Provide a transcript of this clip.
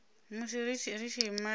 musi ri tshi ima ri